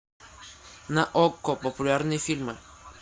на окко популярные фильмы